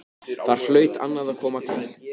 Þar hlaut annað að koma til.